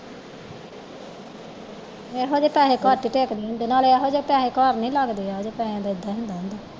ਇਹੋ ਜਿਹੇ ਪੈਸੇ ਘੱਟ ਹੀ ਟਿੱਕਦੇ ਹੁੰਦੇ ਨਾਲੇ ਇਹੋ ਜਿਹੇ ਪੈਸੇ ਘਰ ਨਹੀਂ ਲੱਗਦੇ ਇਹੋ ਜਿਹੇ ਪੈਸੇ ਦਾ ਇਹਦਾ ਹੀ ਹੁੰਦਾ ਹੈ